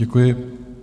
Děkuji.